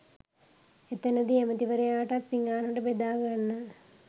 එතැනදී ඇමැතිවරයාටත් පිඟානට බෙදා ගන්න